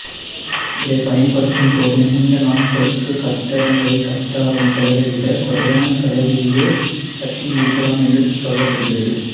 இதைப் பயன்படுத்தும்போது நீண்ட நாட்களுக்கு கட்டடங்களைக் கட்ட ஆகும் செலவைவிடக் குறைவான செலவிலேயே கட்டி முடிக்கலாம் என்று சொல்லப்படுகிறது